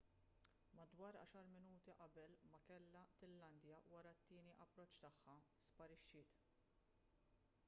madwar għaxar minuti qabel ma kellha tillandja wara t-tieni approċċ tagħha sparixxiet